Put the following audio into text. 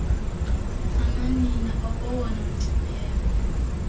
bamanina akowona mngcipheko